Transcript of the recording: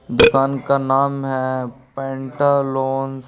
दुकान का नाम हैं पेंटालोन--